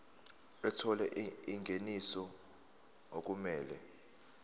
ethola ingeniso okumele